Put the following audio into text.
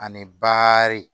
Ani baari